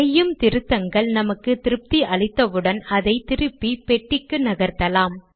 செய்யும் திருத்தங்கள் நமக்கு திருப்தி அளித்தவுடன் அதை திருப்பி பெட்டிக்கு நகர்த்தலாம்